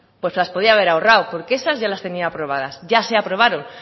pues las podía haber ahorrado porque esas ya les tenia aprobadas ya se aprobaron